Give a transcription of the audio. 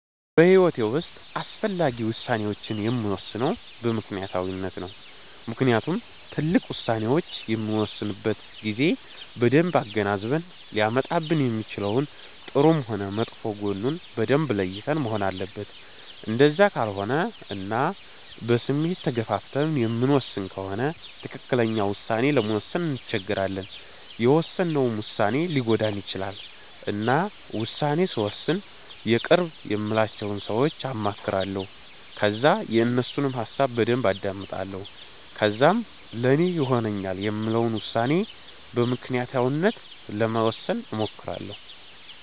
በሂዎቴ ዉስጥ አስፈላጊ ውሳኔወቺን የምወስነው በምክኒያታዊነት ነው። ምክንያቱም ትልቅ ዉሳኔዎች በምንወስንበት ጊዜ በደንብ አገናዝበን ሊያመጣብን የሚችለውን ጥሩም ሆነ መጥፎ ጎኑን በደንብ ለይተን መሆን አለበት እንደዛ ካልሆነ እና በስሜት ተገፋፍተን የምንወስን ከሆነ ትክክለኛ ዉሳኔ ለመወሰን እንቸገራለን የውሰነውም ዉሳኔ ሊጎዳን ይቺላል። እና ዉሳኔ ስወስን የቅርብ የምላቸውን ሰወች አማክራለሁ ከዛ የነሱንም ሀሳብ በደንብ አዳምጣለሁ ከዛም ለኔ ይሆነኛል የምለውን ዉሳኔ በምክኒያታዊነት ለመወሰን እሞክራለሁ